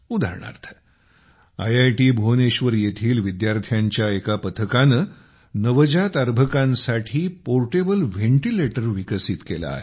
उदाहरणार्थ आयआयटी भुवनेश्वर येथील विद्यार्थ्यांच्या एका पथकाने नवजात अर्भकांसाठी पोर्टेबल व्हेंटीलेटर विकसित केले आहे